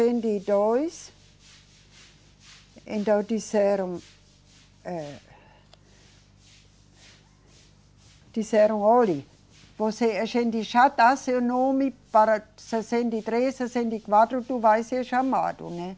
e dois. Então, disseram, eh, disseram, olhe, você, a gente já dá seu nome para sessenta e três, sessenta e quatro tu vai ser chamado, né?